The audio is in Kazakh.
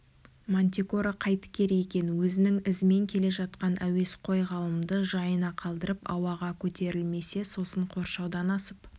мантикора қайтер екен өзінің ізімен келе жатқан әуесқой ғалымды жайына қалдырып ауаға көтерілмесе сосын қоршаудан асып